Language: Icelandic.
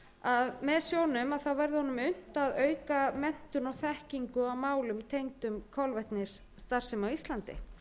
að með sjóðnum verði honum unnt að auka menntun og þekkingu á málum tengdum kolvetnisstarfsemi á íslandi